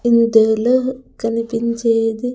ఇంతే లే కనిపించేది.